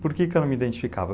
Por que eu não me identificava?